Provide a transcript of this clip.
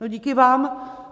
No díky vám!